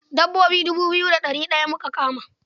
Dabbobi dubu biyu da ɗari ɗaya muka kama.